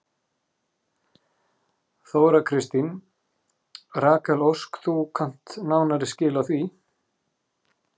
Þóra Kristín: Rakel Ósk þú kannt nánari skil á því?